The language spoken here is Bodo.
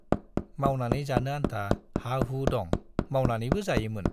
मावनानै जानो आन्था हाहु दं, मावनानैबो जायोमोन।